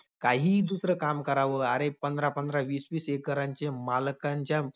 काहीही दुसरं काम करावं. अरे, पंधरा-पंधरा, वीस-वीस एकरांचे मालकांच्या